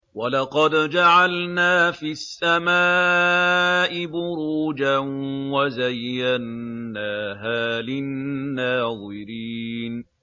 وَلَقَدْ جَعَلْنَا فِي السَّمَاءِ بُرُوجًا وَزَيَّنَّاهَا لِلنَّاظِرِينَ